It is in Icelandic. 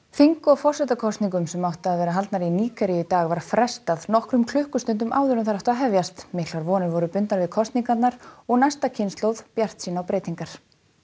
þing og forsetakosningum sem áttu að vera haldnar í Nígeríu í dag var frestað nokkrum klukkustundum áður en þær áttu að hefjast miklar vonir voru bundnar við kosningarnar og næsta kynslóð bjartsýn á breytingar